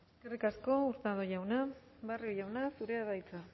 eskerrik asko hurtado jauna barrio jauna zurea da hitza